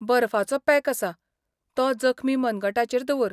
बर्फाचो pack आसा, तो जखमी मनगटाचेर दवर.